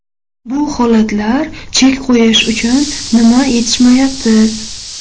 Bu holatlar chek qo‘yish uchun nima yetishmayapti?